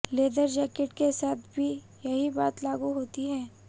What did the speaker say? leather jacket के साथ भी यही बात लागू होती है